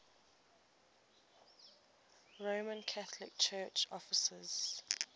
roman catholic church offices